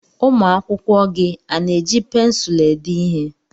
Ụmụ akwụkwọ gị a na-eji pensụlụ ede ihe?